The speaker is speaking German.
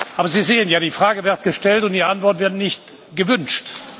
Aber Sie sehen ja Die Frage wird gestellt, und die Antwort wird nicht gewünscht.